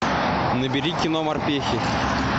набери кино морпехи